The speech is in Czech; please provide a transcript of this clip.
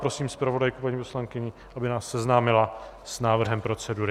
Prosím zpravodajku, paní poslankyni, aby nás seznámila s návrhem procedury.